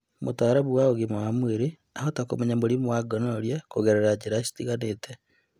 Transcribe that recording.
Mũtaalamu wa ũgima wa mwĩrĩ ahota kũmenya mũrimũ wa gonorrhea kũgerera njĩra citiganĩte